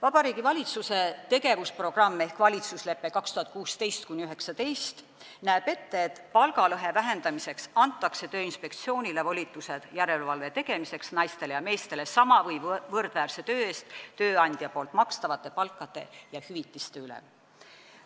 Vabariigi Valitsuse tegevusprogramm ehk valitsuslepe aastateks 2016–2019 näeb ette, et palgalõhe vähendamiseks antakse Tööinspektsioonile volitused järelevalve tegemiseks naistele ja meestele sama või võrdväärse töö eest tööandja poolt makstavate palkade ja hüvitiste üle.